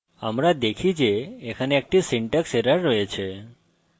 আমরা দেখি যে এখানে একটি syntax error রয়েছে